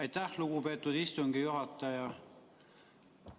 Aitäh, lugupeetud istungi juhataja!